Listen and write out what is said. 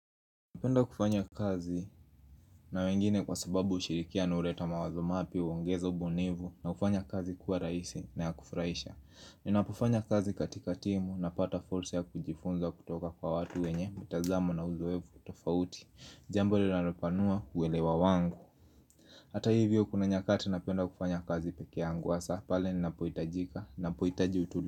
Napenda kufanya kazi na wengine kwa sababu ushirikiano huleta mawazo mapya huongeza ubunifu na kufanya kazi kuwa rahisi na ya kufurahisha Ninapofanya kazi katika timu napata fursa ya kujifunza kutoka kwa watu wenye mitazamo na uzoefu tofauti Jambo linalopanua uelewa wangu Hata hivyo kuna nyakati napenda kufanya kazi pekee yangu hasa pale ninapohitajika ninapohitaji utulivu.